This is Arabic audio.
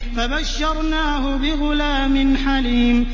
فَبَشَّرْنَاهُ بِغُلَامٍ حَلِيمٍ